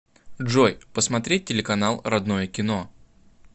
джой посмотреть телеканал родное кино